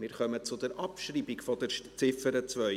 Wir kommen zur Abschreibung der Ziffer 2.